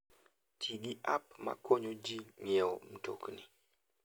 Ti gi app ma konyo ji ng'iewo mtokni.